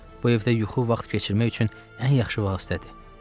Bu evdə yuxu vaxt keçirmək üçün ən yaxşı vasitədir.